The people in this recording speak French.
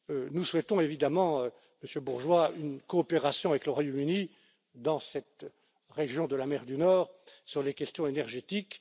Nous souhaitons évidemment, Monsieur Bourgeois, une coopération avec le Royaume Uni dans cette région de la mer du Nord sur les questions énergétiques.